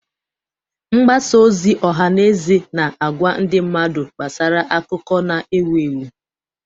Mgbasa ozi ọha na eze na-agwa ndị mmadụ gbasara akụkọ na-ewu ewu.